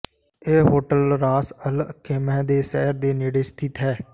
ਇਹ hotel Ras Al Khaimah ਦੇ ਸ਼ਹਿਰ ਦੇ ਨੇੜੇ ਸਥਿਤ ਹੈ